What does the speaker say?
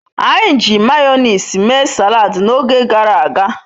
Anyi ji mayonezi mee salad n'oge garaga